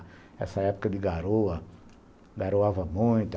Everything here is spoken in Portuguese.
Nessa época de garoa, garoava muito.